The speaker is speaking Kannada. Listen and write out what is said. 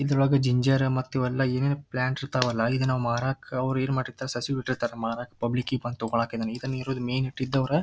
ಇದ್ರೊಳಗ ಜಿಂಜರ್ ಮತ್ತೀವೆಲ್ಲಾ ಏನೇನ್ ಪ್ಲಾಂಟ್ಸ್ ಇರತ್ತವಲ್ಲಾ ಇದನ್ನ ನಾವ್ ಮಾರಕ್ ಅವ್ರ್ ಏನ್ ಮಾಡ್ ಇರತ್ತರ್ ಸಸಿ ಬಿಟ್ಟೀರತ್ತರ್ ಮಾರಕ್ ಪಬ್ಲಿಕ್ ಕೀಪ್ ಅಂತ ತೋಕೋಳಿಕಿದನ್ನ ಇದನ್ನ ಇರೋ ಮೇನ್ ಹೆಡ್ ದೋರ--.